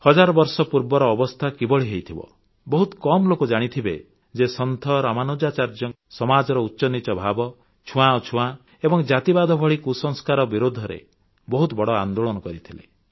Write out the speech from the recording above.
ହଜାର ବର୍ଷ ପୂର୍ବର ଅବସ୍ଥା କିଭଳି ହୋଇଥିବ ବହୁତ କମ୍ ଲୋକ ଜାଣିଥିବେ ଯେ ସନ୍ଥ ରାମାନୁଜାଚାର୍ଯ୍ୟ ସମାଜର ଉଚ୍ଚନୀଚ ଭାବ ଛୁଆଁଅଛୁଆଁ ଏବଂ ଜାତିବାଦ ଭଳି କୁସଂସ୍କାର ବିରୁଦ୍ଧରେ ବହୁତ ବଡ଼ ଆନ୍ଦୋଳନ କରିଥିଲେ